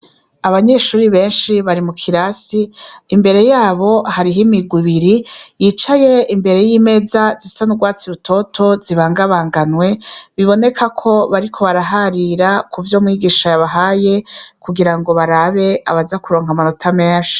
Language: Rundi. Abanyeshuri benshi bari mu kirasi imbere yabo hariho imigubiri yicaye imbere y'imeza zisanurwatsi i rutoto zibangabanganwe biboneka ko bariko baraharira ku vyo mwigisha yabahaye kugira ngo barabe abaza kuronka amanota menshi.